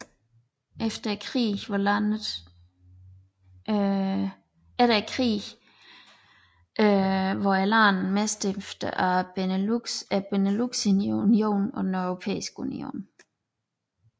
Efter krigen var landet medstifter af Beneluxunionen og den Europæiske Union